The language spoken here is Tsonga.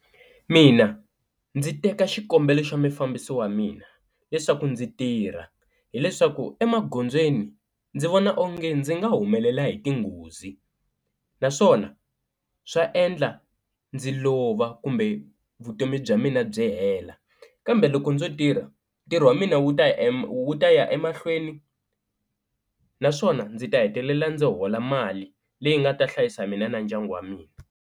Mina ndzi teka xikombelo xa mufambisi wa mina leswaku ndzi tirha hileswaku emagondzweni ndzi vona onge ndzi nga humelela hi tinghozi, naswona swa endla ndzi lova kumbe vutomi bya mina byi hela kambe loko ndzo tirha ntirho wa mina wu ta wu ta ya emahlweni naswona ndzi ta hetelela ndzi hola mali leyi nga ta hlayisa mina na ndyangu wa mina.